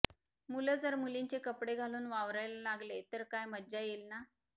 मुलं जर मुलींचे कपडे घालून वावरायला लागले तर काय मज्जा येईल ना